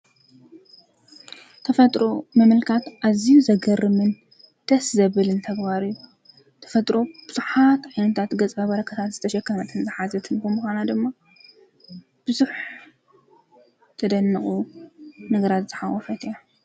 ተፈጥሮ ምምልካት ኣዝዩ ዘገርምን ደስ ዘብልን ተግባር እዩ ተፈጥሮ ብዙሓት ዓይነት ገፅ በረከታት ዝተሸከመትን ዝሓዘትን ብምኳና ድማ ብዙሕ ዘደንቁ ነገራት ዝሓቆፈት እያ።